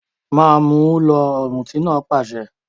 Ma mú un lọ! Ọ̀mùtí náà pàṣẹ